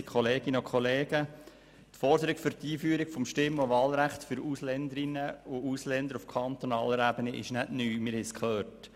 Die Forderung der Einführung eines Stimm- und Wahlrechts für Ausländerinnen und Ausländer auf kantonaler Ebene ist nicht neu, das haben wir gehört.